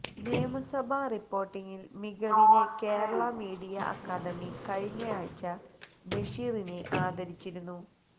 നിയമസഭാ റിപ്പോര്ട്ടിംഗിലെ മികവിന് കേരള മീഡിയ അക്കാഡമി കഴിഞ്ഞയാഴ്ച ബഷീറിനെ ആദരിച്ചിരുന്നു